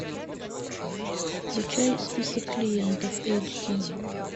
включай список клиентов эйч ди